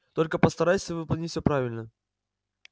только постарайся выполнить всё правильно